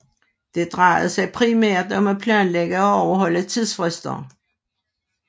Det drejede sig primært om at planlægge og overholde tidsfrister